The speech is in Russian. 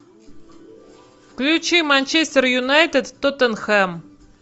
включи манчестер юнайтед тоттенхэм